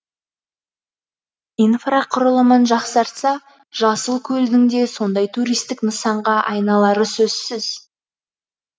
инфрақұрылымын жақсартса жасылкөлдің де сондай туристік нысанға айналары сөзсіз